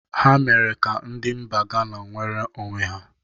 Ha mere ka ndi mba Gana nwere onwe ha.